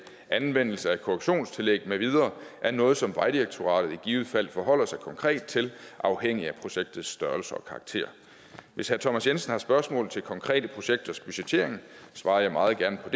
anvendelse af korrektionstillæg med videre er noget som vejdirektoratet i givet fald forholder sig konkret til afhængig af projektets størrelse og karakter hvis herre thomas jensen har spørgsmål til konkrete projekters budgettering svarer jeg meget gerne på